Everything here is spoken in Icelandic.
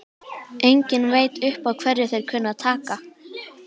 Enginn veit upp á hverju þeir kunna að taka!